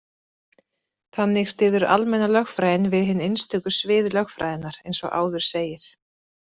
Þannig styður almenna lögfræðin við hin einstöku svið lögfræðinnar, eins og áður segir.